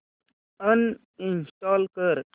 uninstall कर